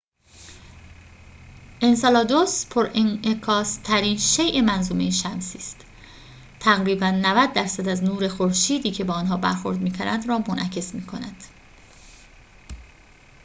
انسلادوس پرانعکاس‌ترین شیء منظومه شمسی است تقریباً ۹۰ درصد از نور خورشیدی که به آن برخورد می‌کند را منعکس می‌نماید